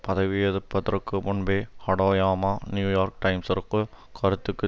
பதவியேதற்பதற்கு முன்பே Hatoyama New York டைம்ஸிற்கு கருத்துக்கு